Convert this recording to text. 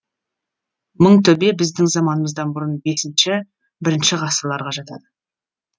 мыңтөбе біздің заманымыздан бұрын бесінші бірінші ғасырларға жатады